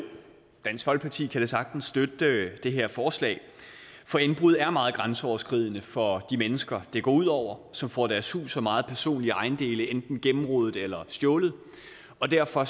dansk folkeparti kan da sagtens støtte det her forslag for indbrud er meget grænseoverskridende for de mennesker det går ud over som får deres hus og meget personlige ejendele enten gennemrodet eller stjålet derfor